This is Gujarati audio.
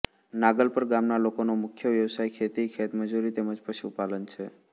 નાગલપર ગામના લોકોનો મુખ્ય વ્યવસાય ખેતી ખેતમજૂરી તેમજ પશુપાલન છે